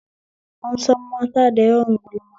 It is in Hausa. An san mata da yawan gulma